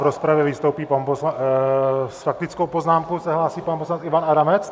V rozpravě vystoupí pan poslanec - s faktickou poznámkou se hlásí pan poslanec Ivan Adamec?